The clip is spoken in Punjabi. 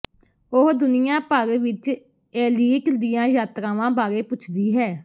ਉਹ ਦੁਨੀਆ ਭਰ ਵਿੱਚ ਏਲੀਟ ਦੀਆਂ ਯਾਤਰਾਵਾਂ ਬਾਰੇ ਪੁੱਛਦੀ ਹੈ